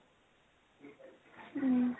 উম